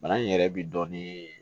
Bana in yɛrɛ bi dɔɔnin